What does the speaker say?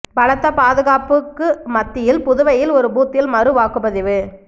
பலத்த பாதுகாப்புக்கு மத்தியில் புதுவையில் ஒரு பூத்தில் மறு வாக்குப் பதிவு